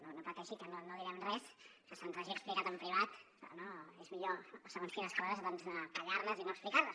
no no pateixi que no direm res que se’ns hagi explicat en privat no és millor segons quines coses doncs callar les i no explicar les